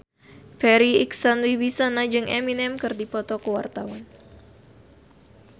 Farri Icksan Wibisana jeung Eminem keur dipoto ku wartawan